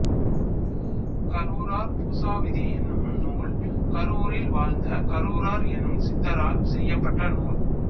கருவூரார் பூசாவிதி என்னும் நூல் கருவூரில் வாழ்ந்த கருவூரார் எனும் சித்தரால் செய்யப்பட்ட நூல்